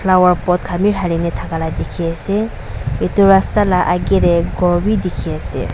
flower pot khan be dhaline thaka lah dikhi ase etu rasta lah aage teh ghor be dikhi ase.